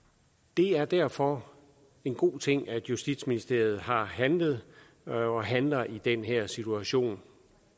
det er derfor en god ting at justitsministeriet har handlet og handler i den her situation